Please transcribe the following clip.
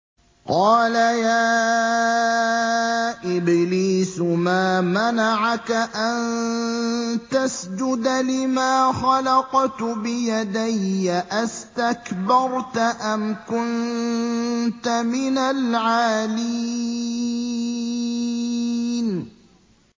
قَالَ يَا إِبْلِيسُ مَا مَنَعَكَ أَن تَسْجُدَ لِمَا خَلَقْتُ بِيَدَيَّ ۖ أَسْتَكْبَرْتَ أَمْ كُنتَ مِنَ الْعَالِينَ